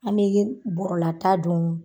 An be ye bɔrɔla ta don